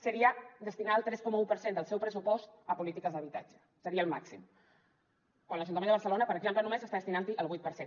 seria destinar el tres coma un per cent del seu pressupost a polítiques d’habitatge seria el màxim quan l’ajuntament de barcelona per exemple només està destinant hi el vuit per cent